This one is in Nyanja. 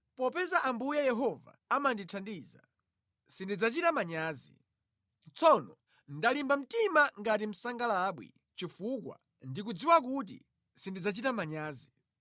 Popeza Ambuye Yehova amandithandiza, sindidzachita manyazi. Tsono ndalimba mtima ngati msangalabwi, chifukwa ndikudziwa kuti sindidzachita manyazi.